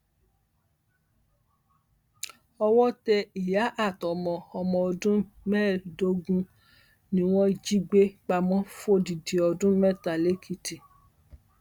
owó tẹ ìyá àtọmọ ọmọ ọdún mẹẹẹdógún ni wọn jí gbé pamọ fódìdì ọdún mẹta lẹkìtì